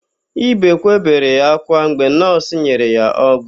Ibekwe bere ákwá mgbe nọọsụ nyere ya ọgwụ.